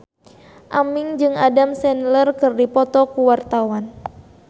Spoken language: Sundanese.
Aming jeung Adam Sandler keur dipoto ku wartawan